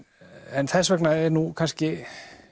en þess vegna er nú kannski